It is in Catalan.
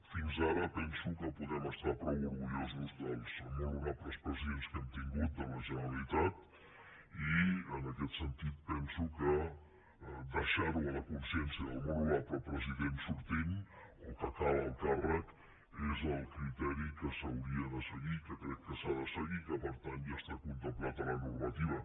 fins ara penso que podem estar prou orgullosos dels molt honorables presidents que hem tingut de la generalitat i en aquest sentit penso que deixar ho a la consciència del molt honorable president sortint o que acaba el càrrec és el criteri que s’hauria de seguir i que crec que s’ha de seguir i que per tant ja està contemplat a la normativa